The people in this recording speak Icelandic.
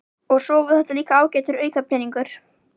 og svo er þetta líka ágætur aukapeningur.